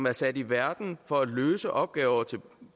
er sat i verden for at løse opgaver til